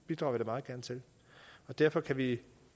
meget gerne til derfor kan vi